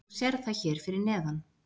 Þú sérð það hér fyrir neðan.